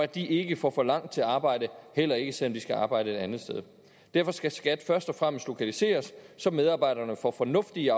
de ikke får for langt til arbejde heller ikke selv om de skal arbejde et andet sted derfor skal skat først og fremmest lokaliseres så medarbejderne får fornuftige